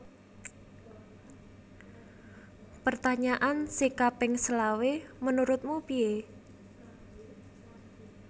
Pertanyaan sing kaping selawe menurutmu pie?